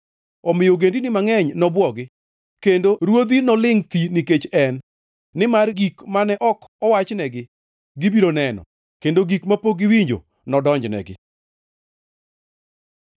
omiyo ogendini mangʼeny nobwogi kendo ruodhi nolingʼ thi nikech en. Nimar gik mane ok owachnegi, gibiro neno, kendo gik mapok giwinjo, nodonjnegi.